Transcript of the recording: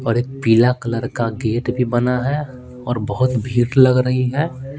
और एक पीला कलर का गेट भी बना है और बहुत भीड़ लग रही है।